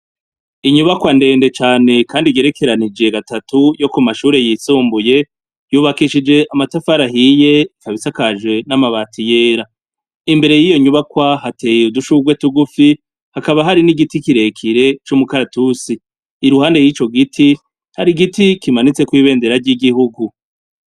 Inyubakwa ndende cane kandi igerekeranije gatatu yo kumashure yisumbuye yubakishije amatafari ahiye ikaba isakaje n'amabati yera, imbere yiyo nyubakwa hateye udushurwe tugufi hakaba hariho nigiti kirekire cumukaratusi iruhande yico giti hari igiti kimanitseko ibendera ryigihugu.